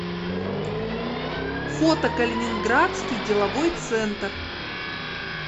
фото калининградский деловой центр